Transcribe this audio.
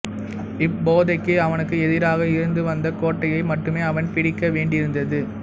இப்போதைக்கு அவனுக்கு எதிராக இருந்து வந்த கோட்டையை மட்டுமே அவன் பிடிக்க வேண்டியிருந்தது